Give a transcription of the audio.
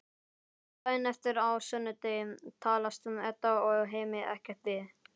Daginn eftir, á sunnudegi, talast Edda og Hemmi ekkert við.